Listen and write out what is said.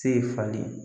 Se falen